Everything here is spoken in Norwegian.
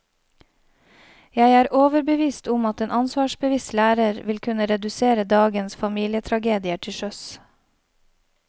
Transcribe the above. Jeg er overbevist om at en ansvarsbevisst lærer ville kunne redusere dagens familietragedier til sjøs.